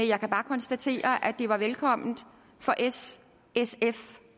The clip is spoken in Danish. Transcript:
jeg kan bare konstatere at de var velkomne for s sf